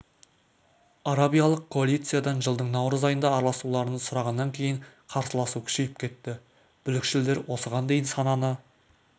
арабиялық коалициядан жылдың наурыз айында араласуларын сұрағаннан кейін қарсыласу күшейіп кетті бүлікшілдер осыған дейін сананы